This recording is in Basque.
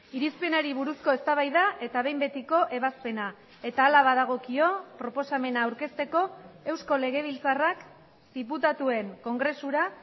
irizpenari buruzko eztabaida eta behin betiko ebazpena eta hala badagokio proposamena aurkezteko eusko legebiltzarrak diputatuen kongresura